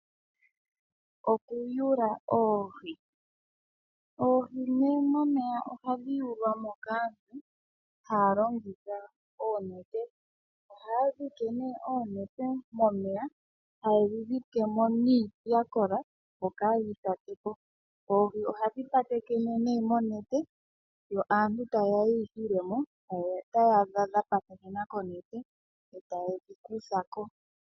Okuyula oohi. Oohi momeya ohadhi yulwa mo kaantu haya longitha oonete. Ohaya dhike oonete momeya, haye dhi dhike mo niiti ya kola, opo kaadhi tokoke. Oohi ohadhi patekene nduno monete, yo aantu taye ya ye yi hile mo taya adha dha patekena konete taye dhi kutha ko.